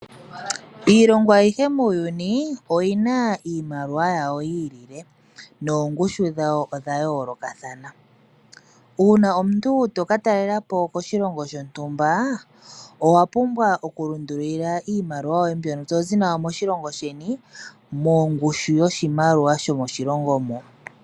Iilongo ayihe muuyuni oyina iimaliwa yawo yi ili, noongushu dhawo odha yoolokathana. Uuna omuntu toka talelapo koshilongo shontumba, owa pumbwa okushendja iimaliwa yoye mbyono tozi nayo moshilongo sheni, mongushu yoshimaliwa shomoshilongo moka.